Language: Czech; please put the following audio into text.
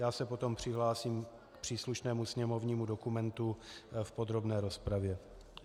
Já se potom přihlásím k příslušnému sněmovnímu dokumentu v podrobné rozpravě.